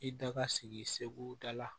I da ka sigi segu da la